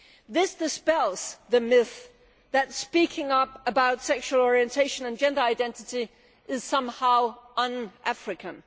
This dispels the myth that speaking up about sexual orientation and gender identity is somehow un African.